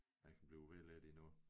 Jeg kan blive ved lidt endnu